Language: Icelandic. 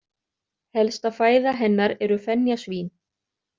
Helsta fæða hennar eru fenjasvín.